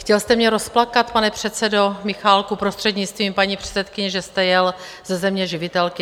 Chtěl jste mě rozplakat, pane předsedo, Michálku prostřednictvím paní předsedkyně, že jste jel ze Země živitelky?